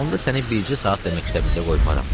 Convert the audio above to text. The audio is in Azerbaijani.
Onda səni bircə saat da məktəbində qoymaram,